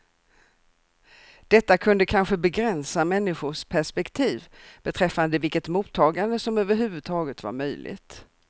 Detta kunde kanske begränsa människors perspektiv beträffande vilket mottagande som överhuvudtaget var möjligt.